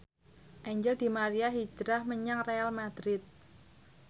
Angel di Maria hijrah menyang Real madrid